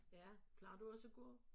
Ja plejer du også at gå?